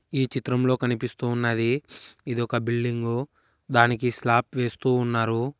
ఈ చిత్రంలో కనిపిస్తూ ఉన్నది ఇది ఒక బిల్డింగు దానికి స్లాప్ వేస్తూ ఉన్నారు.